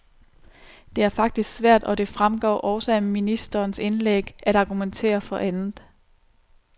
Det er faktisk svært, og det fremgår også af ministerens indlæg, at argumentere for andet.